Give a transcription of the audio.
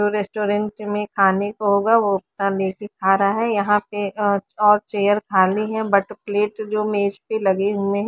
restaurant में खाने को होगा वो दिखा रहा है यहा पे अ और चेयर खाली है बट प्लेट जो मेज पे लगे हुए हैं--